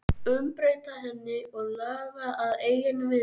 Umbreyta henni og laga að eigin vild?